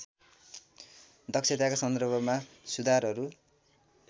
दक्षताका सन्दर्भमा सुधारहरू